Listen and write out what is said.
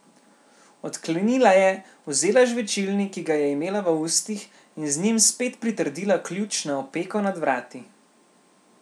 Odklenila je, vzela žvečilni, ki ga je imela v ustih, in z njim spet pritrdila ključ na opeko nad vrati.